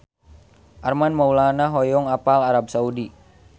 Armand Maulana hoyong apal Arab Saudi